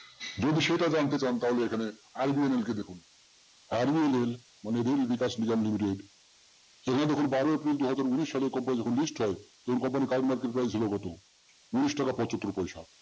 যদি সেটা জানতে চান তাহলে এখানে RVNL কে দেখুন RVNL মানে rail vikas nigam limited সেটি যখন বারো April দুহাজার উনিশ সালে company যখন list হয় company current market price ছিল কত? উনিশ টাকা পচাত্তোর পয়সা